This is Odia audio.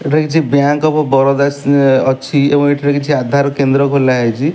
ଏଠାରେ କିଛି ବ୍ୟାଙ୍କ୍ ଅଫ ବରୋଦାସ୍ ଅଛି ଏବଂ ଏଠାରେ କିଛି ଆଧାର କେନ୍ଦ୍ର ଖୋଲା ହେଇଚି।